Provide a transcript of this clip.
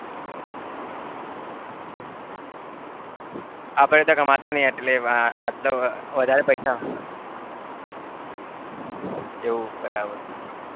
હા ભાઈ અત્યારે કમાતા નહિ એટલે આટલા વધારે પૈસા એવું બરાબર?